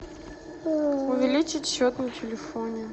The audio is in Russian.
увеличить счет на телефоне